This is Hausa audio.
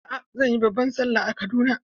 A'a, zan yi babban Sallah a Kaduna.